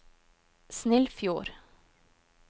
Snillfjord